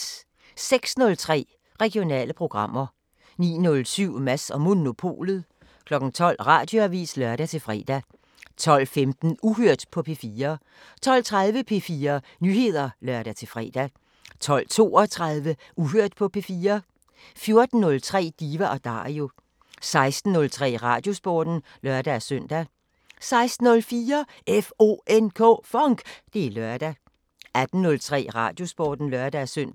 06:03: Regionale programmer 09:07: Mads & Monopolet 12:00: Radioavisen (lør-fre) 12:15: Uhørt på P4 12:30: P4 Nyheder (lør-fre) 12:32: Uhørt på P4 14:03: Diva & Dario 16:03: Radiosporten (lør-søn) 16:04: FONK! Det er lørdag 18:03: Radiosporten (lør-søn)